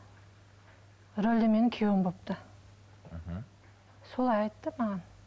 рөлде менің күйеуім болыпты мхм солай айтты маған